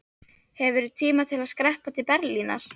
Hefurðu tíma til að skreppa til Berlínar?